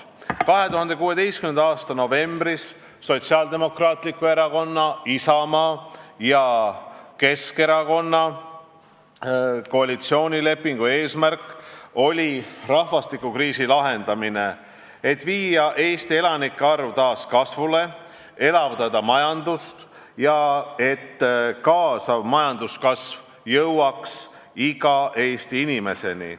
" 2016. aasta novembris Sotsiaaldemokraatliku Erakonna, Isamaa ja Keskerakonna vahel sõlmitud koalitsioonilepingu eesmärk oli lahendada rahvastikukriis, viia Eesti elanike arv taas kasvule, ja elavdada majandust, et sellega kaasnev majanduskasv jõuaks iga Eesti inimeseni.